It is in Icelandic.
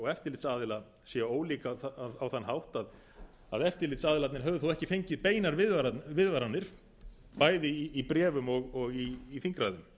eftirlitsaðila sé ólík á þann hátt að eftirlitsaðilarnir hafi þá ekki fengið beinar viðvaranir bæði í bréfum og í þingræðum